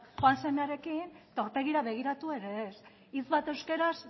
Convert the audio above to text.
joan semearekin eta aurpegira begiratu ere ez hitz bat euskaraz